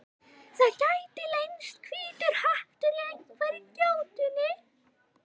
Það gæti leynst hvítur hattur í einhverri gjótunni.